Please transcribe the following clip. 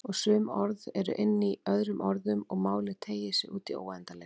Og sum orð eru inní öðrum orðum og málið teygir sig útí óendanleikann.